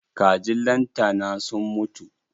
Kajin lantana sun mutu.